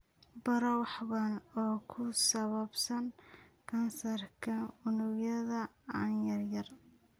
Baro wax badan oo ku saabsan kansarka unugyada aan yareyn.